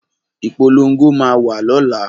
Ìpolongo máa wà lọ́la